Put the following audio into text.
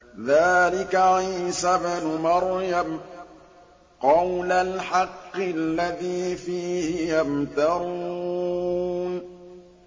ذَٰلِكَ عِيسَى ابْنُ مَرْيَمَ ۚ قَوْلَ الْحَقِّ الَّذِي فِيهِ يَمْتَرُونَ